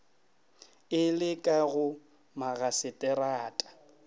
e le ka go magaseterata